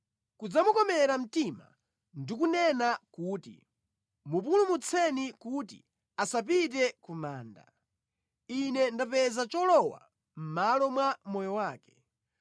kudzamukomera mtima ndi kunena kuti, ‘Mupulumutseni kuti asapite ku manda; ine ndapeza cholowa mʼmalo mwa moyo wake,’